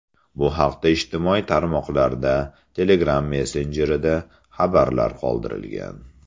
Bu haqda ijtimoiy tarmoqlarda, Telegram messenjerida xabarlar qoldirilgan.